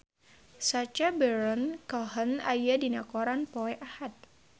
Sacha Baron Cohen aya dina koran poe Ahad